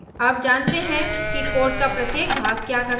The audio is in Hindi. अब जानते हैं कि code का प्रत्येक भाग क्या करता है